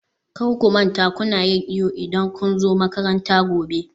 kar ku manta kuna yin iyo idan kun zo makaranta gobe